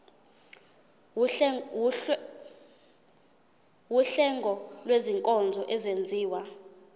wuhlengo lwezinkonzo ezenziwa